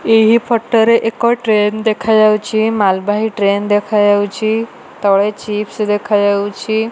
ଏହି ଫଟରେ ଏକ ଟ୍ରେନ ଦେଖାଯାଉଛି। ମାଲବାହି ଟ୍ରେନ ଦେଖାଯାଉଛି। ତଳେ ଚିପସ୍ ଦେଖାଯାଉଛି।